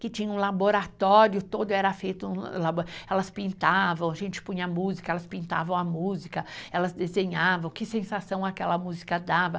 que tinha um laboratório todo, era feito... Elas pintavam, a gente punha música, elas pintavam a música, elas desenhavam, que sensação aquela música dava.